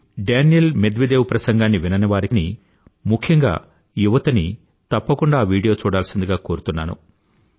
ఒకవేళ మీరు Daniil Medvedev ప్రసంగాన్ని విననివారికీ ముఖ్యంగా యువతని తప్పకుండా ఆ వీడియో చూడాల్సిందిగా కోరుతున్నాను